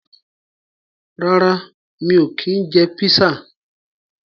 Rárá mi ò kí ń jẹ písà.